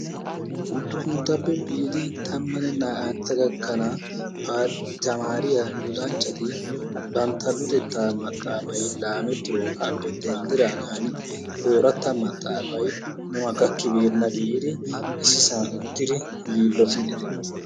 Uddupunttappe biidi tammanne naa"antta gakkanawu pa tamaariya luxanchchati bantta luxettaa maxaafay laametiroogaappe denddidiraagan ooratta maxaafay nuna gakkibeenna giidi ississan uttidi yiilottidi de'oosona.